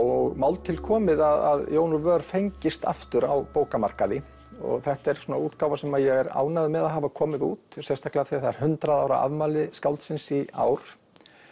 og mál til komið að Jón úr vör fengist aftur á bókamarkaði og þetta er útgáfa sem ég er ánægður með að hafa komið út sérstaklega af því að það er hundrað ára afmæli skáldsins í ár